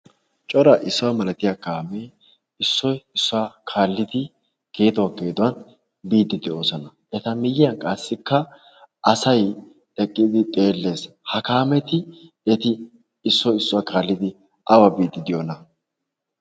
Cora issuwa malatiya kaamee issoy issuwa geesuwa kaallidi geeduwan geeduwan biiddi de'oosona. Eta miyyiyankka qassi asay eqqidi xeelliiddi de'ees. Ha kaametikka eti awa biyonaa?